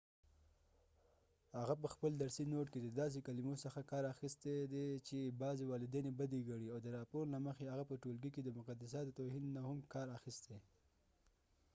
هغه په خپل درسی ڼوټ کې دداسې کلمو څخه کار اخستی دي چې بعضی والدين یې بدي ګنی او د راپور له مخی هغه په ټولګی کې د مقدساتو توهین نه هم کار اخستی